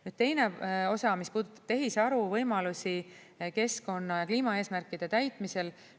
Nüüd teine osa, mis puudutab tehisaru võimalusi keskkonna‑ ja kliimaeesmärkide täitmisel.